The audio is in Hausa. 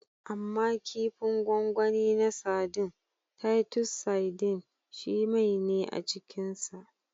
Amma kifin gwangwani na sadin (Titus sardines) shi mai ne a cikinsa.